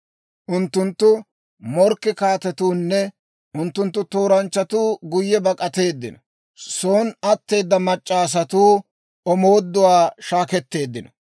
Unttunttu, «Morkke kaatetuunne unttunttu tooranchchatuu guyye bak'ateeddino; son atteeda mac'c'a asatuu omooduwaa shaakketteeddino.